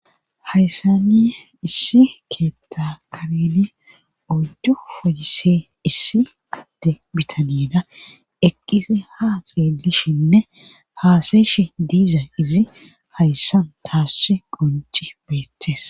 Hayssani issi keetta kabeli oddu foyise issi adde bitanida eqqisi ha xeelishinne haasayshi diiza izi hayssan taassi qonci beettes.